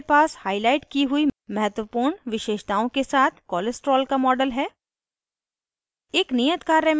panel पर हमारे पास हाईलाइट की हुई महत्वपूर्ण विशेषताओं के साथ cholesterol का model है